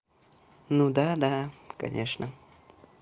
ну да да конечно